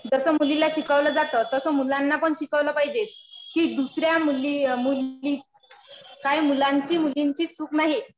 जसं मुलीला शिकवलं जातं तसं मुलांना पण शिकवलं पाहिजे. कि दुसऱ्या मुलीची काय मुलांची मुलीची चूक नाही.